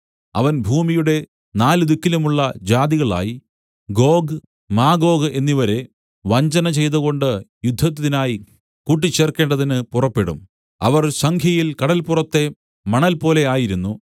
അവൻ ഭൂമിയുടെ നാല് ദിക്കിലുമുള്ള ജാതികളായി ഗോഗ് മാഗോഗ് എന്നിവരെ വഞ്ചന ചെയ്തുകൊണ്ട് യുദ്ധത്തിനായി കൂട്ടിച്ചേർക്കേണ്ടതിന് പുറപ്പെടും അവർ സംഖ്യയിൽ കടല്പുറത്തെ മണൽപോലെ ആയിരുന്നു